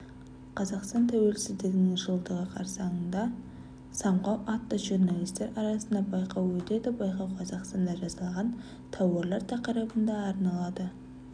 қазақстан тәуелсіздігінің жылдығы қарсаңында самғау атты журналистер арасындағы байқау өтеді байқау қазақстанда жасалған тауарлар тақырыбына арналады